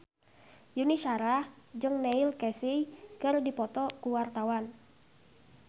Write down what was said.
Yuni Shara jeung Neil Casey keur dipoto ku wartawan